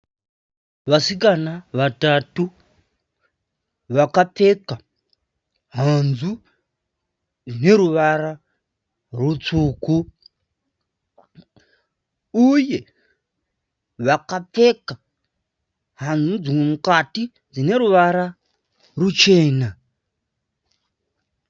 Vasikana vatatu vakapfeka hanzu dzine ruvara rutsvuku uye vakapfeka hanzu dzemukati dzineruvara ruchena